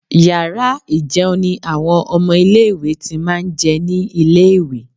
Yàrá ì̀jẹun ni àwọn ọmọ ilé-ìwé ti máa ń jẹ ní ilé-ìwé